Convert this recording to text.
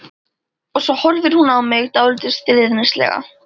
Og svo horfir hún á mig dálítið stríðnislega.